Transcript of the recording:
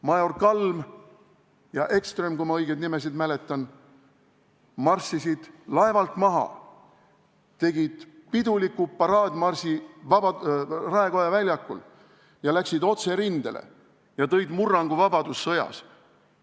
Major Kalm ja major Ekström – kui ma nimesid õigesti mäletan – marssisid laevalt maha, tegid Raekoja väljakul piduliku paraadmarsi, läksid otse rindele ja tõid vabadussõtta murrangu.